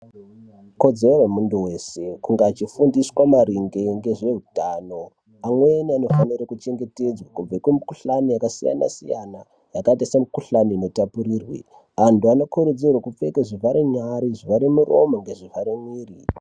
Ikodzero yemuntu weshe kunge eifundiswa maringe ngezveutano. Amweni anofanira kuchengetedzwa kubve kumikhuhlani yakasiyana siyana yakaite semikhuhlani inotapurirwana. Antu anokurudzirwa kupfeke zvivhare nyara, zvivhare muromo nezvivhare mwiri.